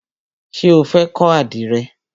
Ṣé o fẹ́ kọ́ àdìrẹ?